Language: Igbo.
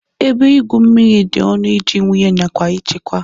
Ebe igwu mmiri dị ọnụ iji wụnye nakwa ichekwa